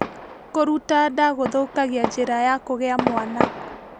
Kuruta nda gũthũkagia njĩra ya kũgĩa mwana